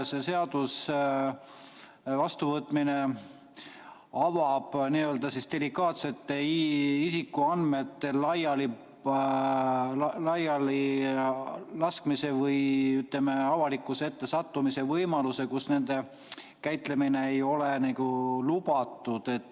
Selle seaduse vastuvõtmine avab delikaatsete isikuandmete laialilaskmise või avalikkuse ette sattumise võimaluse, kus nende käitlemine ei ole lubatud.